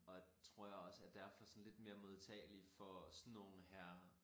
Og tror jeg også er derfor sådan lidt mere modtagelig for sådan nogen her